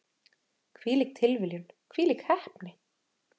Hvílík tilviljun, hvílík heppni!